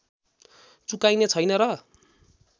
चुकाइने छैन र